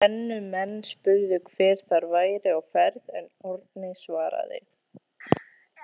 Brennumenn spurðu hver þar væri á ferð en Árni svaraði.